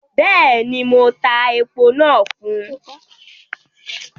Bẹ́ẹ̀ni, mo tá èpo nàá fún